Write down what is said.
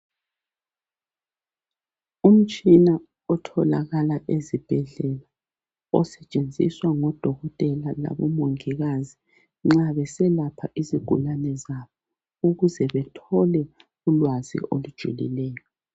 Umutshina otholakala ezibhedlela osetshenziswa ngo dokothela labo mongikazi nxa beselapha izigulane zabo ukuze bethole ulwazi olujulileyo.